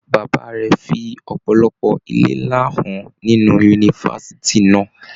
Bàbá rẹ fí ọpọlọpọ ilé nlá hàn nínú yunifásítì náà.